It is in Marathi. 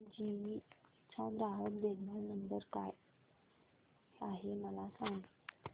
जीई चा ग्राहक देखभाल नंबर काय आहे मला सांग